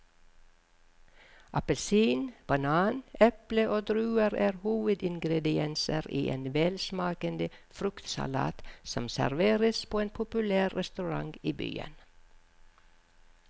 Appelsin, banan, eple og druer er hovedingredienser i en velsmakende fruktsalat som serveres på en populær restaurant i byen.